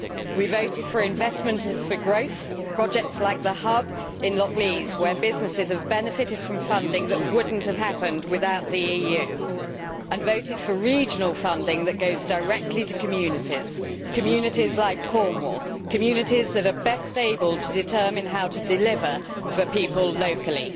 We voted for investment for growth projects like the Hub in Lockleaze, where businesses have benefited from funding that would not have happened without the EU, and voted for regional funding that goes directly to communities communities like Cornwall, communities that are best able to determine how to deliver for people locally.